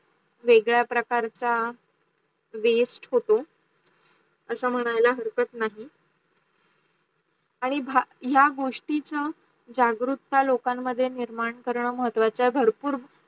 वेगड्या प्रकारचा चा Waste होतो अस म्हणाला हरकत नाही. आणी या गोष्टीचा जागरूकता लोकन मध्ये निर्माण करण महत्वाचा आहे भरपूर